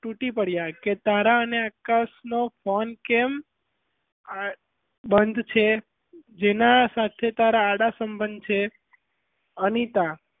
તૂટી પડ્યાં કે તારાં ને આકાશ નો phone કેમ બંધ છે જેનાં સાથે તારાં આડાસંબધ છે અનિતા,